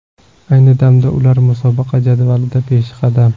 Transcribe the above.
Ayni damda ular musobaqa jadvalida peshqadam.